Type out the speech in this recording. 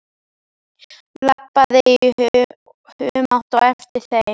Labbaði í humátt á eftir þeim.